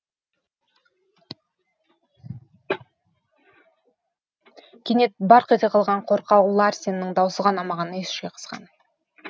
кенет барқ ете қалған қорқау ларсеннің даусы ғана маған ес жиғызған